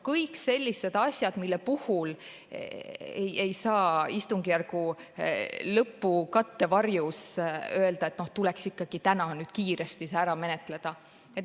Kõik sellised asjad, mille puhul ei saa istungjärgu lõpu kattevarjus öelda, et see tuleks täna kiiresti ära menetleda.